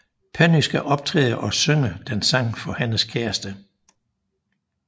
Penny skal optræde og synger den sang for hendes kæreste